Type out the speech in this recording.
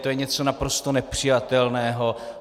To je něco naprosto nepřijatelného.